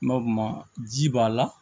N ba ma ji b'a la